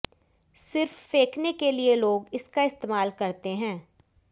सिर्फ फेंकने के लिये लोग इसका इस्तेमाल करते हैं